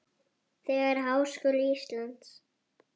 Þegar Háskóli Íslands